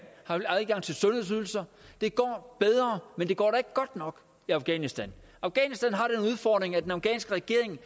har adgang til sundhedsydelser det går bedre men det går da ikke godt nok i afghanistan afghanistan har den udfordring at den afghanske regering